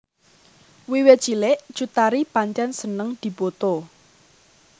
Wiwit cilik Cut Tari pancen seneng dipoto